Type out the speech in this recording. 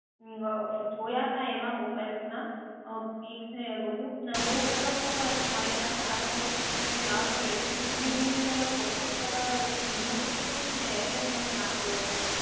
અં જોયા હતા mobile ના પીક્સને એ બધું અને બહુ સરસ એવો હતો પણ મારા પાસે આવ્યા પછી પણ મેં વાપર્યો પણ ધીમે ધીમે જયારે processor ધીમું થતું ગયું એટલે મેં ત્યાં આપ્યો હતો